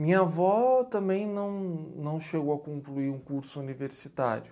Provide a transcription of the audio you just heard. Minha avó também não não chegou a concluir um curso universitário.